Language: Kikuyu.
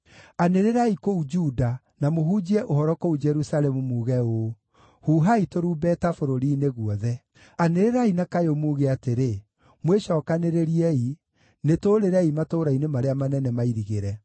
“Anĩrĩrai kũu Juda, na mũhunjie ũhoro kũu Jerusalemu, muuge ũũ: ‘Huhai tũrumbeta bũrũri-inĩ guothe!’ Anĩrĩrai na kayũ muuge atĩrĩ: ‘Mwĩcookanĩrĩriei! Nĩtũũrĩrei matũũra-inĩ marĩa manene mairigĩre!’